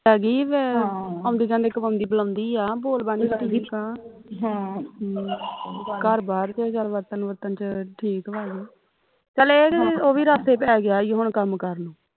ਹੈਗੀ ਵਾ ਆਉਂਦੀ ਜਾਉਂਦੀ ਬੁਲਾਉਦੀ ਆ ਬੋਲ ਬਾਣੀ ਠੀਕ ਆ ਘਰ ਬਾਰ ਵਰਤਣ ਵੁਰਤਣ ਵਿਚ ਠੀਕ ਵਾ ਚੱਲ ਇਹ ਕਿ ਉਹ ਵੀ ਰਾਸੇ ਪੈ ਗਿਆ ਈ ਉਹ ਕੰਮ ਕਾਰ ਨੂੰ